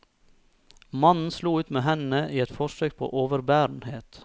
Mannen slo ut med hendene i et forsøk på overbærenhet.